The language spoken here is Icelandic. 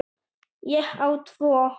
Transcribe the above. Ég á tvo.